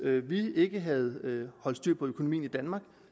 vi ikke havde holdt styr på økonomien i danmark